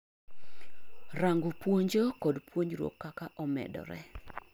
rango puonjo kod puonjruok kaka omedore